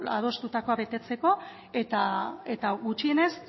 adostutakoa betetzeko eta gutxienez